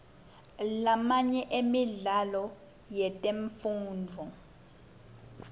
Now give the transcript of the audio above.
lamanye emidlalo yetemfundvo